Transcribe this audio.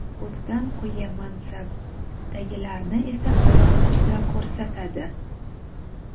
o‘zidan quyi mansabdagilarni esa oyoq uchida ko‘rsatadi.